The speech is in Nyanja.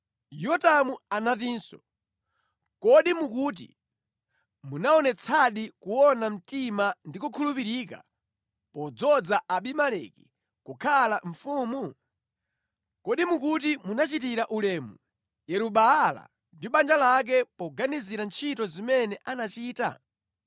Yotamu anatinso, “Kodi mukuti munaonetsadi kuona mtima ndi kukhulupirika podzoza Abimeleki kukhala mfumu? Kodi mukuti munachitira ulemu Yeru-Baala ndi banja lake poganizira ntchito zimene anachita?